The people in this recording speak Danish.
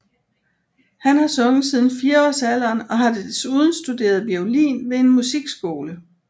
Han har sunget siden fireårsalderen og har desuden studeret violin ved en musikskole